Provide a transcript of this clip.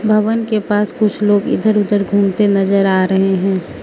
भवन के पास कुछ लोग इधर उधर घूमते नज़र आ रहे हैं।